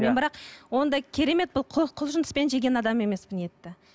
мен бірақ ондай керемет бір құлшыныспен жеген адам емеспін етті